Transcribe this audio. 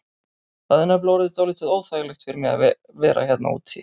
Það er nefnilega orðið dálítið óþægilegt fyrir mig að vera hérna úti.